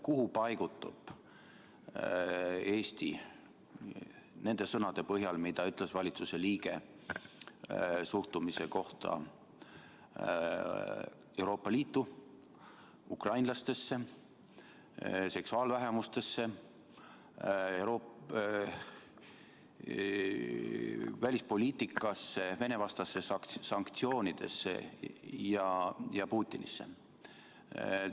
Kuhu paigutub Eesti nende sõnade põhjal, mida ütles valitsuse liige suhtumise kohta Euroopa Liitu, ukrainlastesse, seksuaalvähemustesse, välispoliitikasse, Vene-vastastesse sanktsioonidesse ja Putinisse?